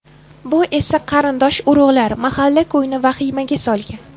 Bu esa qarindosh-urug‘lar, mahalla-ko‘yni vahimaga solgan.